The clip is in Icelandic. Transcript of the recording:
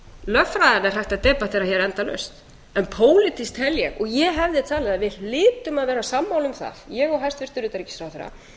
er hægt að debattera hér endalaust en pólitískt tel ég og ég hefði talið að við hlytum að vera sammála um það ég og hæstvirtur utanríkisráðherra